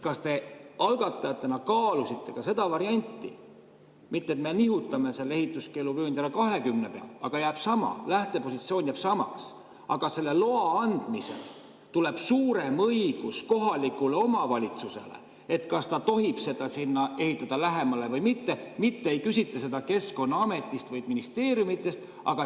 Kas te algatajatena kaalusite ka seda varianti, et me mitte ei nihuta ehituskeeluvööndi alla 20 peale, vaid lähtepositsioon jääb samaks, aga selle loa andmisel tuleb suurem õigus kohalikule omavalitsusele,, kas tohib seda ehitada lähemale või mitte, mitte ei küsita seda Keskkonnaametist või ministeeriumist.